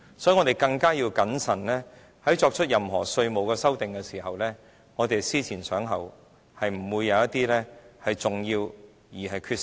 所以，我們對稅務條文作出任何修訂時更應謹慎，要思前想後，不會出現重要缺失。